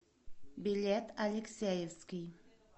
билет алексеевский